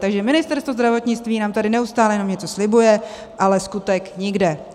Takže Ministerstvo zdravotnictví nám tady neustále jenom něco slibuje, ale skutek nikde!